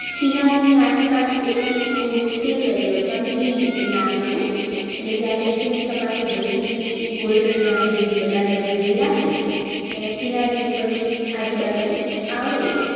કિનારી ની આસપાસ એ એક spoon જેટલું તેલ લઈ લેવાનું અથવા ઘી રાખવાનું એટલે જ્યારે નીચેની સપાટી હલકી golden brown જેવી બદામી રંગ જેવી લાગે એને કિનારી ઉપરની આજુબાજુ આવે.